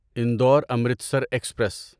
Indore Amritsar express